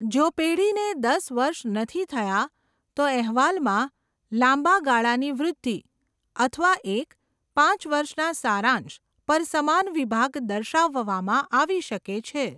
જો પેઢીને દસ વર્ષ નથી થયા, તો અહેવાલમાં 'લાંબા ગાળાની વૃદ્ધિ' અથવા એક 'પાંચ વર્ષના સારાંશ' પર સમાન વિભાગ દર્શાવવામાં આવી શકે છે.